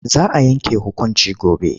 Za a yanke hukunci gobe.